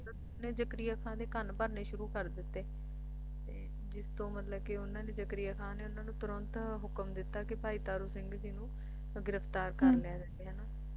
ਨੇ ਜਕਰੀਆ ਖਾਣ ਦੇ ਕੰਨ ਭਰਨੇ ਸ਼ੁਰੂ ਕਰ ਦਿੱਤੇ ਤੇ ਜਿਸ ਤੋਂ ਕਿ ਮਤਲਬ ਉਹਨਾਂ ਨੇ ਜਕਰੀਆ ਖਾਨ ਨੇ ਤੁਰੰਤ ਇਨ੍ਹਾਂ ਨੂੰ ਹੁਕਮ ਦਿੱਤਾ ਕਿ ਭਾਈ ਤਾਰੂ ਸਿੰਘ ਜੀ ਨੂੰ ਗਿਰਫ਼ਤਾਰ ਕਰ ਹਾਂ ਲਿਆ ਜਾਵੇ ਅੱਛਾ ਅੱਛਾ ਤੇ ਉਨ੍ਹਾਂ ਹਾਂ ਜੀ ਜਿੱਦਾਂ ਉਹ